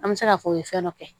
An bɛ se k'a fɔ o ye fɛn dɔ kɛ